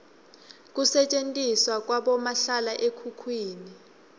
kusetjentiswa kwabomahlala ekhukhwini